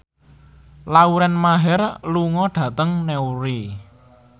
Lauren Maher lunga dhateng Newry